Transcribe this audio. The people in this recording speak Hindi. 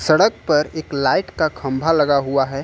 सड़क पर एक लाइट का खंभा लगा हुआ है।